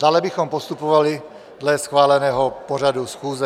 Dále bychom postupovali dle schváleného pořadu schůze.